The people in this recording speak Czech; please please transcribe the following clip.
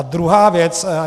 A druhá věc.